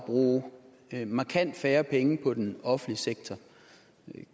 bruge markant færre penge på den offentlige sektor